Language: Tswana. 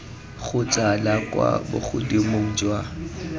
kgotsa la kwa bogodimong jwa